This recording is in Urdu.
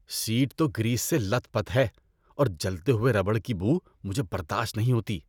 سیٹ تو گریس سے لت پت ہے اور جلتے ہوئے ربڑ کی بو مجھے برداشت نہیں ہوتی۔